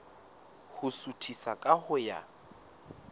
ho suthisa ka ho ya